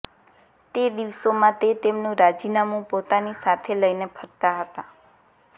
તે દિવસોમાં તે તેમનુ રાજીનામુ પોતાની સાથે લઇને ફરતા હતા